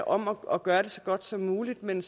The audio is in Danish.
om at gøre det så godt som muligt men